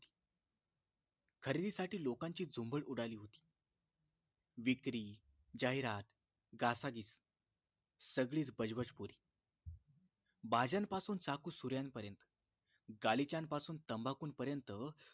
खरेदीसाठी लोकांची झुंबड उडाली होती विक्री जाहिरात घासाघीस सगळीच बजबजपुरी भाज्यांपासून चाकू सुऱ्यापर्यंत गालिचांपासून तंबाकूपर्यंत